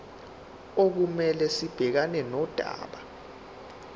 okumele sibhekane nodaba